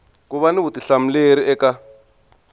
ku va ni vutihlamuleri eka